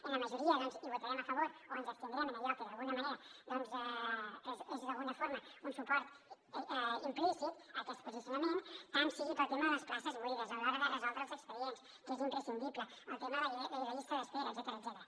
en la majoria doncs hi votarem a favor o ens abstindrem en allò que d’alguna manera és un suport implícit a aquest posicionament tant sigui pel tema de les places buides a l’hora de resoldre els expedients que és imprescindible el tema de la llista d’espera etcètera